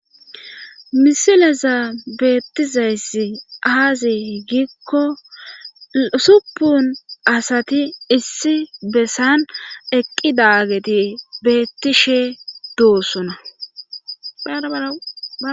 Misileza beettizayssi aazi gikko supun asati issi bessan eqqi daageti beettishe duussuna.